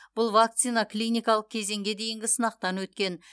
бұл вакцина клиникалық кезеңге дейінгі сынақтан өткен